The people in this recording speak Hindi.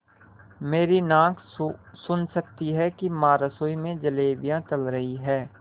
मेरी नाक सुन सकती है कि माँ रसोई में जलेबियाँ तल रही हैं